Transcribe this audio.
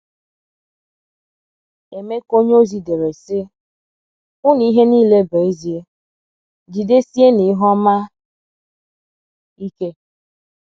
Emeka onyeozi dere, sị: “hu na ihe nile bụ ezie; jidesienụ ihe ọma ike. ”